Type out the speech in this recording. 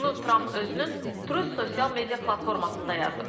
Bunu Tramp özünün Trust sosial media platformasında yazıb.